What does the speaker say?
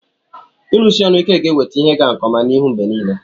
ịrụsi ọrụ ike ga-eweta ihe ịga nke n'ihu mgbe niile